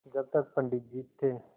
जब तक पंडित जी थे